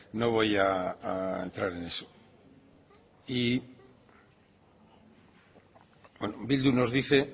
no voy a entrar en eso y bildu nos dice